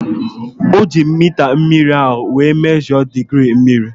O ji mita mmiri ahu wee mesho digirii mmiri